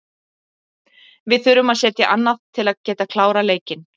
Við þurfum að setja annað til að geta klárað leikinn.